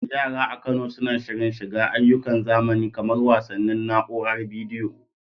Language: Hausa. Yara a Kano suna shirin shiga ayyukan zamani kamar wasannin na'uarar bidiyo.